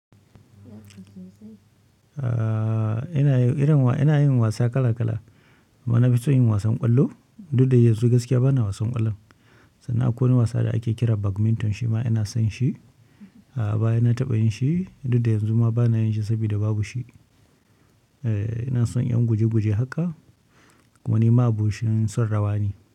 Eh, ina yin wasa kala kala. amMa nafi son wasan ƙwallo, duk da yanzu gaskiya bana wasan ƙwallon. Sannan akwai wani wasa da ake kira badminton, shi ma ina son shi. A baya na taɓa yin shi, duk da yanzu ma bana yin shi saboda babu shi. Eh, ina son yin guje-guje haka, kuma ni ma'abocin son rawa ne.